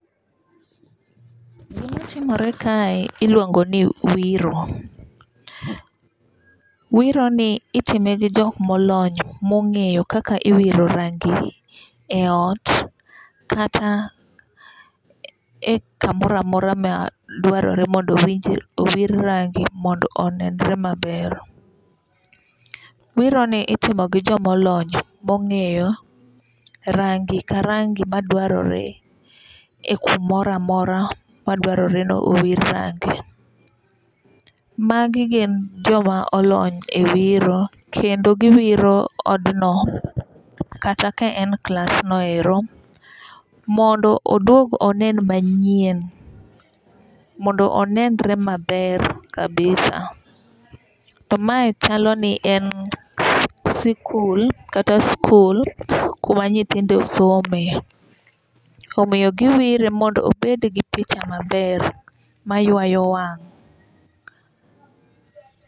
Gima timore kae iluongo ni wiro. Wiro ni itime gi jok molony mong'eyo kaka iwiro rangi e ot kata e kamoro amora ma dwarore mondo owir rangi mondo onenre maber. Wiro ni itimo gi jomolony mong'eyo rangi ka rangi madwarore e kumoro amora ma dwarore ni owir rangi. Magi gin joma olony e wiro kendo giwiro od no kata ka en klas no ero. Mondo oduog onen manyien. Mondo onenre maber kabisa. To mae chalo ni en sikul kata skul kuma nyithindo some. Omiyo giwire mondo obed gi picha maber ma ywayo wang'.